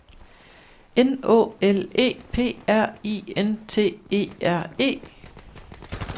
N Å L E P R I N T E R E